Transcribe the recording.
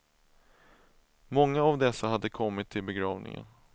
Många av dessa hade kommit till begravningen.